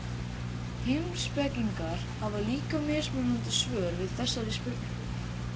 Heimspekingar hafa líka mismunandi svör við þessari spurningu.